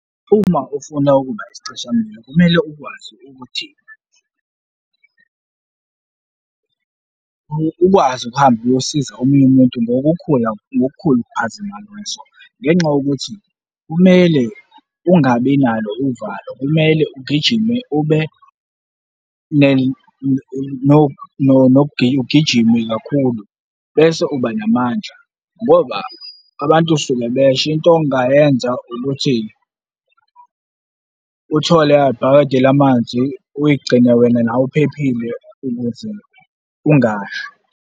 Uma ufuna ukuba isicishamlilo, kumele ukwazi ukuthi ukwazi ukuhamba uyosiza omunye umuntu ngokukhula, ngokukhulu ukuphazama kweso ngenxa yokuthi kumele ungabi nalo uvalo, kumele ugijime ube ugijime kakhulu bese uba namandla ngoba abantu suke besho. Into ongayenza ukuthi uthole ibhakede lamanzi, uyigcine wena nawe uphephile ukuze ungashi.